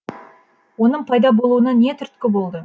оның пайда болуына не түрткі болды